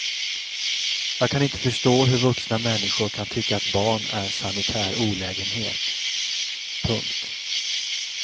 Jag kan inte förstå hur vuxna människor kan tycka att barn är sanitär olägenhet. punkt